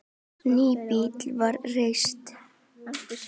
Nýbýli var reist.